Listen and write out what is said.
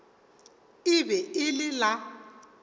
e be e le la